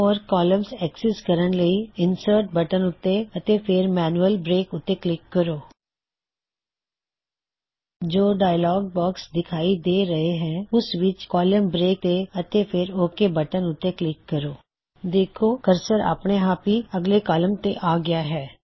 ਹੋਰ columns access ਕਰਨ ਲਈ ਇਨਸਰਟ ਬਟਨ ਉੱਤੇ ਅਤੇ ਫੇਰ ਮੈਨਯੁਅਲ ਬ੍ਰੇਕ ਉੱਤੇ ਕਲਿੱਕ ਕਰੋ ਜੋ ਡਾਇਅਲੌਗ ਬੌਕਸ ਦਿਖਾਈ ਦੇ ਰਹਿਐ ਹੈ ਉਸ ਵਿਚ ਕੌਲਮ ਬ੍ਰੇਕ ਕੋਲਮਨ ਬ੍ਰੇਕਤੇ ਅਤੇ ਫੇਰ ਓਕ ਬਟਨ ਉੱਤੇ ਕਲਿਕ ਕਰੋ ਤੁਸੀਂ ਦੇਖੋਂਗੇ ਕੀ ਕਰਸਰ ਆਪਣੇ ਆਪ ਹੀ ਅਗਲੇ ਕੌਲਮ ਤੇ ਆ ਗਇਆ ਹੈ